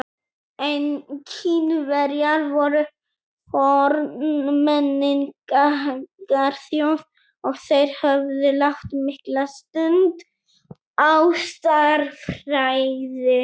Kínverjar voru forn menningarþjóð og þeir höfðu lagt mikla stund á stærðfræði.